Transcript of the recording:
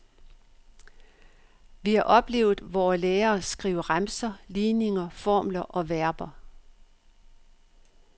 Vi har oplevet vore lærere skrive remser, ligninger, formler og verber.